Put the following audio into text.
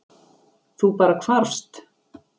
Þú bara hvarfst?